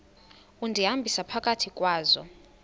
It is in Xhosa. undihambisa phakathi kwazo